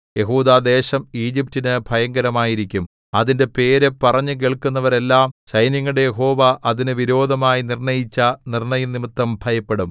യെഹൂദാദേശം ഈജിപറ്റിനു ഭയങ്കരമായിരിക്കും അതിന്റെ പേര് പറഞ്ഞുകേൾക്കുന്നവരെല്ലാം സൈന്യങ്ങളുടെ യഹോവ അതിന് വിരോധമായി നിർണ്ണയിച്ച നിർണ്ണയംനിമിത്തം ഭയപ്പെടും